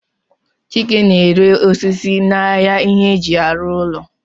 Chike na-ere osisi n'ahịa ihe eji arụ ụlọ